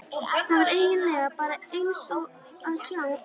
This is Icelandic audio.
Það var eigin lega bara eins og að sjá guð.